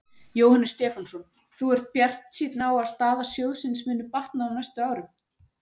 Jóhannes Stefánsson: Þú ert bjartsýnn á að staða sjóðsins muni batna á næstu árum?